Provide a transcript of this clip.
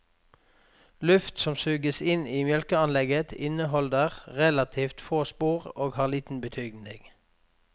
Luft som suges inn i mjølkeanlegget inneholder relativt få sporer og har liten betydning.